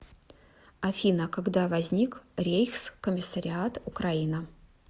афина когда возник рейхскомиссариат украина